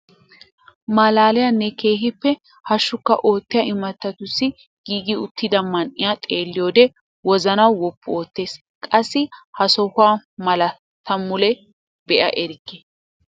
Malaaliyaanne keehippe hashshukka oottiyaa imattatussi giigi uttida man'iyaa xeelliyoode wozanaa woppu oottees. qassi ha sohuwaa malaa ta mule be'a erikke!